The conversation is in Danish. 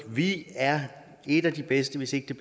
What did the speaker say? vi er et af de bedste hvis ikke